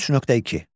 33.2.